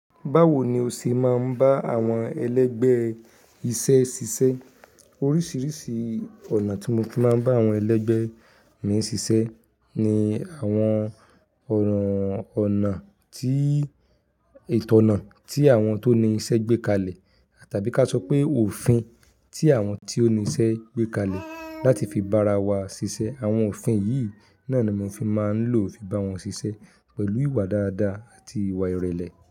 Báwo ni o ṣe máa ń bá àwọn ẹlẹ́gbẹ́ iṣẹ́ ṣiṣẹ́? Oríṣiríṣi ọ̀nà tí mo fi máa ń bá àwọn ẹlẹ́gbẹ́ mi ṣiṣẹ́ ni àwọn ọ̀nà, ọ̀nà tí, ìtọ̀nà tí àwọn tó ní iṣẹ́ gbé kalẹ̀ tàbí ká sọ pé òfin tí àwọn tí ó ní iṣẹ́ gbé kalẹ̀ láti fi bá ara wa ṣiṣẹ́. Àwọn òfin yìí náà ni mo fi máa ń lò fi bá wọn ṣiṣẹ́ pẹ̀lú ìwà dáadáa àti ìwà ìrẹ̀lẹ̀